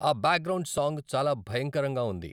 ఆ background song చాలా భయంకరంగా ఉంది